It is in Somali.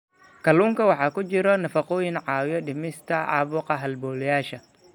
Kalluunka waxaa ku jira nafaqooyin caawiya dhimista caabuqa halbowlayaasha.